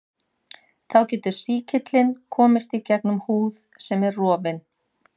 þá getur sýkillinn komist gegnum húð sem er rofin